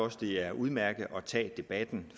at det er udmærket at tage debatten